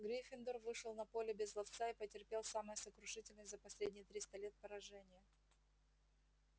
гриффиндор вышел на поле без ловца и потерпел самое сокрушительное за последние триста лет поражение